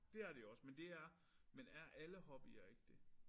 Det er det jo også men det er men er alle hobbyer ikke det